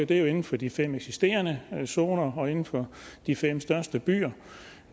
det er inden for de fem eksisterende zoner og inden for de fem største byer